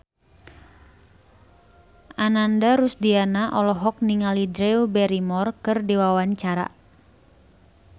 Ananda Rusdiana olohok ningali Drew Barrymore keur diwawancara